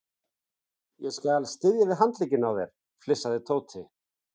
Ég skal styðja við handlegginn á þér flissaði Tóti.